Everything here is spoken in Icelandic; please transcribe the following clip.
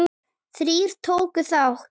Þrír tóku þátt.